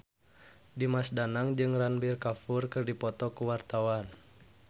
Dimas Danang jeung Ranbir Kapoor keur dipoto ku wartawan